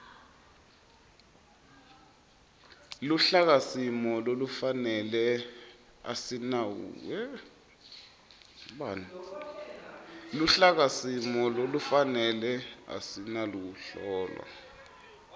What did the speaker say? luhlakasimo lolufanele asinawuhlolwa